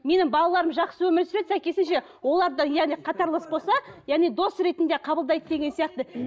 менің балаларым жақсы өмір сүреді сәйкесінше олар да яғни қатарлас болса яғни дос ретінде қабылдайды деген сияқты